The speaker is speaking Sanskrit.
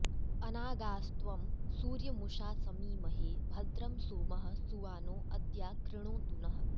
अ॒ना॒गा॒स्त्वं सूर्य॑मु॒षास॑मीमहे भ॒द्रं सोमः॑ सुवा॒नो अ॒द्या कृ॑णोतु नः